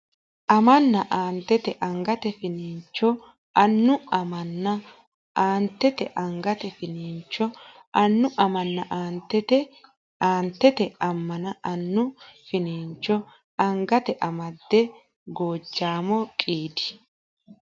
amanna Aantete angate finiincho annu amanna Aantete angate finiincho annu amanna Aantete Aantete amanna annu finiincho angate amadde Gojaamo qiidi !